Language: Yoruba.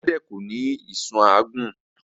Elẹ́dẹ̀ ko ní ìsun àágún